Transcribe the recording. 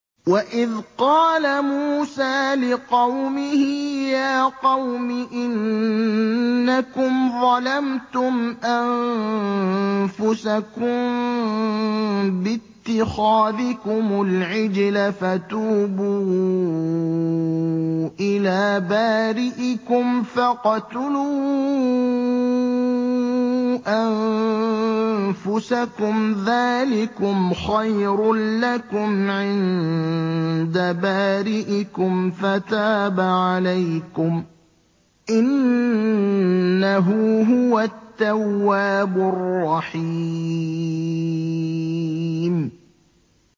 وَإِذْ قَالَ مُوسَىٰ لِقَوْمِهِ يَا قَوْمِ إِنَّكُمْ ظَلَمْتُمْ أَنفُسَكُم بِاتِّخَاذِكُمُ الْعِجْلَ فَتُوبُوا إِلَىٰ بَارِئِكُمْ فَاقْتُلُوا أَنفُسَكُمْ ذَٰلِكُمْ خَيْرٌ لَّكُمْ عِندَ بَارِئِكُمْ فَتَابَ عَلَيْكُمْ ۚ إِنَّهُ هُوَ التَّوَّابُ الرَّحِيمُ